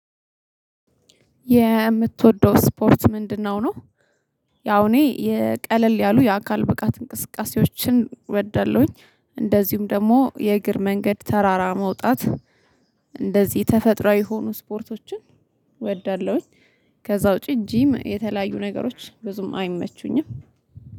"የምትወደው ስፖርት ምንድን ነው?" ነው። ያው እኔ የ ቀለል ያሉ የአካል ብቃት እንቅስቃሴዎችን እወዳለሁኝ። እንደዚሁም ደግሞ የእግር መንገድ ተራራ መውጣት እንደዚህ ተፈጥሮ የሆኑ ስፖርቶችን እወዳለሁኝ። ከዛ ውጪ ጂም የተለያዩ ነገሮች ብዙም አይመቹኝም።